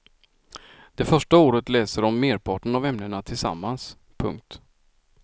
Det första året läser de merparten av ämnena tillsammans. punkt